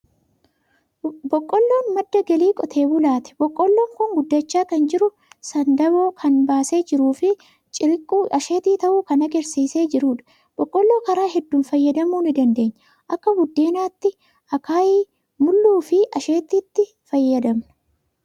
Boqqolloon madda galii qotee bulaati. Boqqolloon kun guddachaa kan jiru, sandaaboo kan baasee jiruu fi cirriiqquu asheetii ta'u kan agarsiisee jirudha. Boqqolloon karaa hedduun fayyadamuu ni dandeenya. Akka buddeenaatti, akaayii, mulluu fi asheetiitti ni fayyadamna.